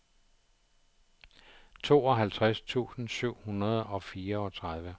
tooghalvtreds tusind syv hundrede og fireogtredive